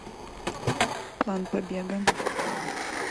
план побега